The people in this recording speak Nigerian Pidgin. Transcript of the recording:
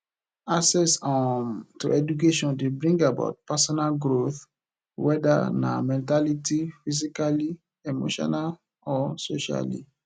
access um to education de bring about personal growth whether na mentality physically emotionall or socially